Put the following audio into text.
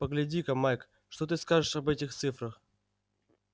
погляди-ка майк что ты скажешь об этих цифрах